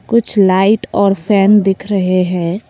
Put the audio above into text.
कुछ लाइट और फैन दिख रहे है।